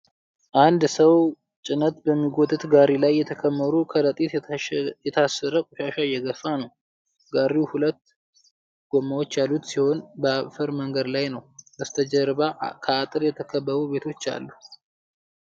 አንድ ሰው ጭነት በሚጎትት ጋሪ ላይ የተከመሩ በከረጢት የታሰረ ቆሻሻ እየገፋ ነው። ጋሪው ሁለት ጎማዎች ያሉት ሲሆን በአፈር መንገድ ላይ ነው። ከበስተጀርባ በአጥር የተከበቡ ቤቶች አሉ።